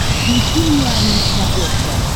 включи мне ани на смотрешке